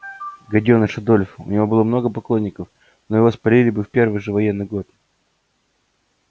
гадёныш адольф у него было много поклонников но его спалили бы в первый же военный год